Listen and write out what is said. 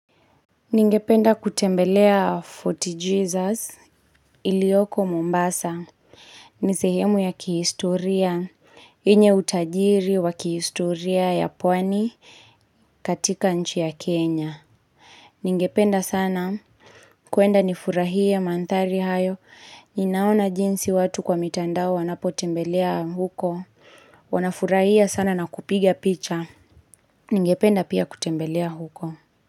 Ningependa kutembelea Forty Jesus, ilioko Mombasa, nisehemu ya kihistoria. Yenye utajiri wa kihistoria ya pwani katika nchi ya Kenya. Ningependa sana, kwenda nifurahie manthari hayo, ninaona jinsi watu kwa mitandao wanapo tembelea huko. Wanafurahia sana na kupiga picha. Ningependa pia kutembelea huko.